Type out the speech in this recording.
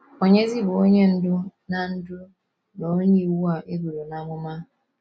Ònyezi bụ Onye Ndú na Ndú na Onye Iwu a e buru n’amụma?